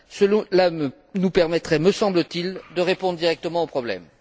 Cela nous permettrait, me semble t il, de répondre directement au problème.